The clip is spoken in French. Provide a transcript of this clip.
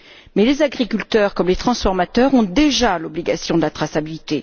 Mais les agriculteurs, comme les transformateurs, ont déjà l'obligation de la traçabilité.